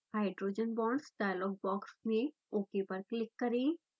hydrogen bonds dialogue box में ok पर click करें